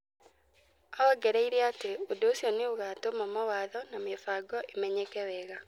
Aongereire atĩ ũndũ ũcio nĩ ũgaatũma mawatho na mĩbango ĩmenyeke wega.